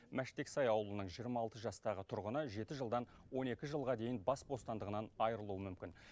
мәштексай ауылының жиырма алты жастағы тұрғыны жеті жылдан он екі жылға дейін бас бостандығынан айырылуы мүмкін